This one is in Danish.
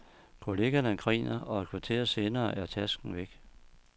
Kollegerne griner, og et kvarter senere er tasken væk.